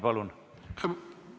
Palun!